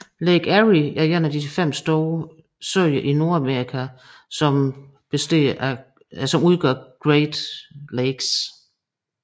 Lake Erie er en af de fem store søer i Nordamerika som udgør Great Lakes